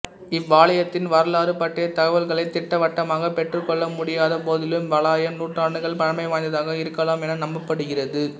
இவ்வாலயத்தின் வரலாறு பற்றிய தகவல்களை திட்டவட்டமாக பெற்றுக்கொள்ளமுடியாத போதிலும் இவ்வாலயம் நூற்றாண்டுகள் பழமை வாய்ந்ததாக இருக்கலாம் என நம்பப்படுகிறது